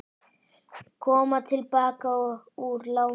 Koma til baka úr láni